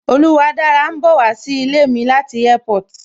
Oluwadára ń bowa sí ilé mi láti Airport